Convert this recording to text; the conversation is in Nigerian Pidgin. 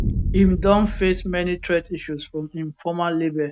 im don face many threat issues from im former label